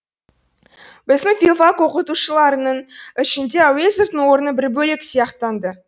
біздің филфак оқытушыларының ішінде әуезовтың орны бір бөлек сияқтанды